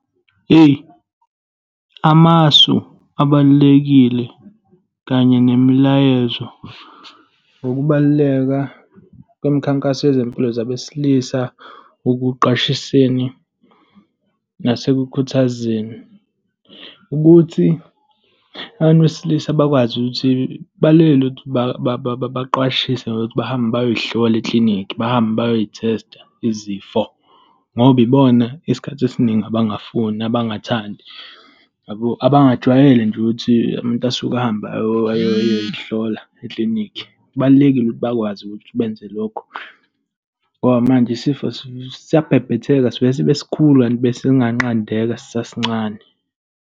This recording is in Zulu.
Hheyi, amasu abalulekile kanye nemilayezo wokubaluleka kwemikhankaso yezempilo zabesilisa ekuqwashiseni nasekukhuthazeni ukuthi abantu besilisa bakwazi ukuthi balekelelwe ukuthi baqwashiswe, nokuthi bahambe bayozihlola eklinikhi, bahambe bayoyithesta izifo, ngoba ibona isikhathi esiningi abangafuni, abangathandi, yabo. Abangajwayele nje ukuthi umuntu asuke ahambe ayoy'hlola eklinikhi. Kubalulekile ukuthi bakwazi ukuthi benze lokho ngoba manje isifo siyabhebhethenga. Sivele sibe sikhulu kanti besinganqandeka sisasincane.